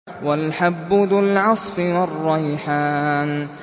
وَالْحَبُّ ذُو الْعَصْفِ وَالرَّيْحَانُ